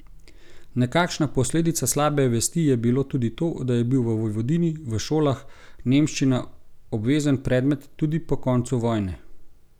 Nekakšna posledica slabe vesti je bilo tudi to, da je bil v Vojvodini v šolah nemščina obvezen predmet, tudi po koncu vojne.